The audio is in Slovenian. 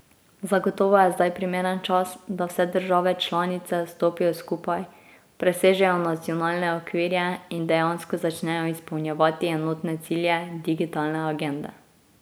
Zagotovo je zdaj primeren čas, da vse države članice stopijo skupaj, presežejo nacionalne okvire in dejansko začnejo izpolnjevati enotne cilje digitalne agende.